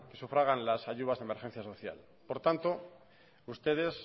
sufragan las ayudas de emergencia social por tanto ustedes